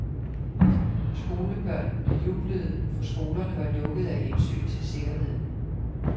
Skolebørnene jublede, for skolerne var lukkede af hensyn til sikkerheden.